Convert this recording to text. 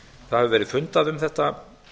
það hefur verið fundað um þetta